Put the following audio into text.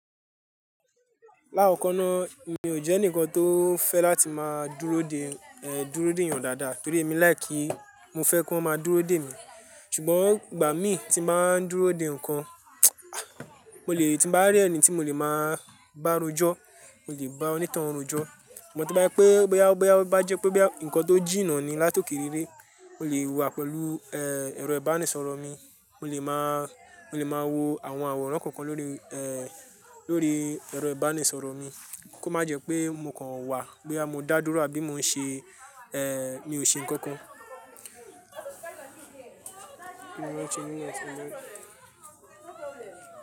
Lákọ̀ko náà mi ò jẹ́ ẹnìkan tó fẹ́ láti máa dúró dè, dúró dè ènìyàn dáadáa torí èmi like, mo fẹ́ kí wọ́n máa dúró dè mi. Ṣùgbọ́n ìgbà mi tí n bà wá n dúró dè nǹkan, mo lè tí n bá rí ẹni tí mo lè máa bá rojọ́, mo lè bá onítoun rojọ́. Ṣùgbọ́n to bá jẹ́ pé boya boya boyá to ba jẹ́ pé bí àwọn nǹkan tó jìnnà ni látòkè réré, mo lè wà pẹ̀lú, ẹ̀rọ ìbánisọ̀rọ̀ mi, mo lè máa, mo lè máa wo àwọn àwòrán kọ̀ọ̀kan lórí, lórí ẹ̀rọ ìbánisọ̀rọ̀ mi kó má jẹ́ pé mo kàn wà boya mọ́ dá dúró àbí mo ń ṣe, mi ò ṣe nǹkan kan.